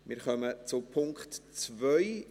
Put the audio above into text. Wir kommen zum Punkt 2.